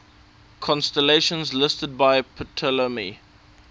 constellations listed by ptolemy